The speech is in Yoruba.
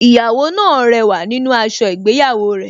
Ìyàwó náà rẹwà nínú aṣọ ìgbéyàwó rẹ̀